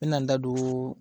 Ni bɛna n da don